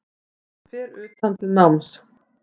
Fer utan til náms